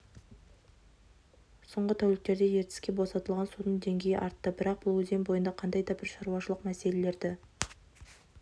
соңғы тәуліктерде ертіске босатылған судың деңгейі артты бірақ бұл өзен бойында қандай да бір шаруашылық мәселелерді